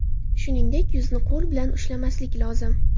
Shuningdek, yuzni qo‘l bilan ushlamaslik lozim.